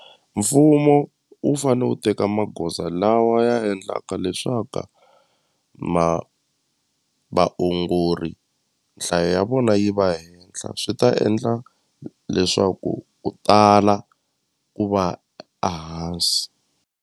Mfumo wu fane wu teka magoza lawa ya endlaka leswaku ma vaongori nhlayo ya vona yi va henhla swi ta endla leswaku u tala ku va a hansi.